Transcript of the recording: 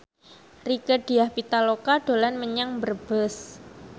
Rieke Diah Pitaloka dolan menyang Brebes